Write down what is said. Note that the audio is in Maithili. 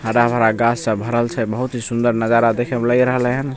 हरा भरा गाछ सब भरल छे बहुत ही सुन्दर नजारा देखे में लग रहले हन।